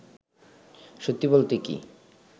সত্যি বলতে কী